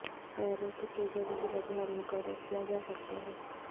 پیروں کی سوجن کی وجوہات مقرر کیا جا سکتا ہے